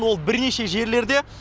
ол бірнеше жерлерде